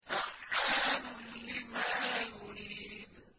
فَعَّالٌ لِّمَا يُرِيدُ